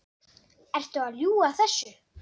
Ertu að ljúga þessu?